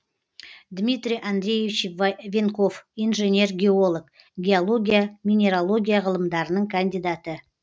дмитрий андреевич венков инженер геолог геология минералогия ғылымдарының кандидаты